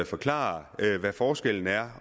forklare hvad forskellen er